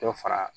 Dɔ fara